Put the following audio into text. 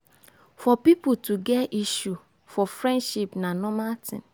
for pipo to get issue for friendship na normal thing